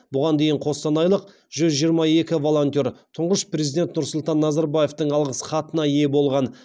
бұған дейін қостанайлық жүз жиырма екі волонтер тұңғыш президент нұрсұлтан назарбаевтың алғыс хатына ие болған